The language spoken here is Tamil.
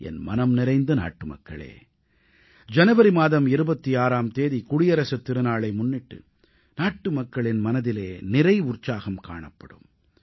என் மனம் நிறைந்த நாட்டுமக்களே ஜனவரி மாதம் 26ஆம் தேதி குடியரசுத் திருநாளை முன்னிட்டு நாட்டுமக்களின் மனதிலே நிறை உற்சாகம் காணப்படும்